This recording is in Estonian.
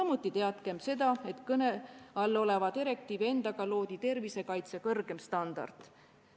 Samuti teadkem seda, et kõne all oleva direktiivi endaga loodi tervisekaitse kõrgem standard.